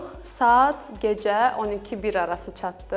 Saat gecə 12-1 arası çatdıq.